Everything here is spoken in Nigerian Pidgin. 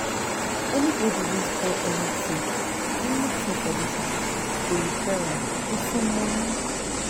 Anybody wey spoil anything anything for dis house go repair am with im money